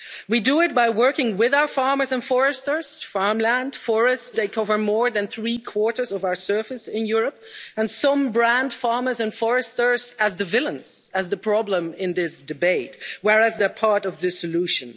We do it by working with our farmers and foresters farmland and forests take up more than three quarters of our surface in Europe, and some brand farmers and foresters as the villains, as the problem in this debate, whereas they're part of the solution.